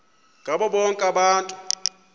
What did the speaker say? ngabo bonke abantu